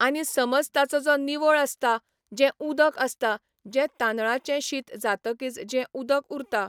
आनी समज ताचो जो निवळ आसता, जें उदक आसता, जें तांदळांचें शीत जातकीच जें उदक उरता.